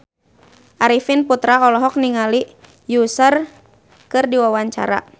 Arifin Putra olohok ningali Usher keur diwawancara